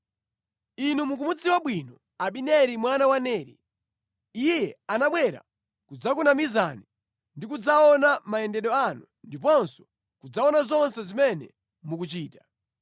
Inu mukumudziwa bwino Abineri mwana wa Neri. Iye anabwera kudzakunamizani ndi kudzaona mayendedwe anu ndiponso kudzaona zonse zimene mukuchita.”